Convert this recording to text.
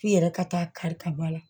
K'i yɛrɛ ka taa kari ka bɔ a la